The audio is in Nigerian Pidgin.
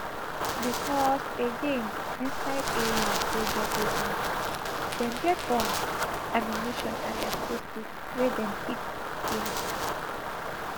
becos again inside areas wey get weapons dem get bombs ammunition and explosives wey dem keep dia